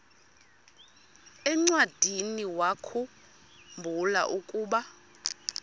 encwadiniwakhu mbula ukuba